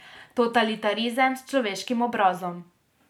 Totalitarizem s človeškim obrazom.